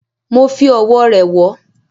Mo fi Ọ̀wọ̀ rẹ̀ wọ́